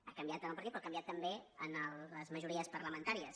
ha canviat en el partit però ha canviat també en les majories parlamentàries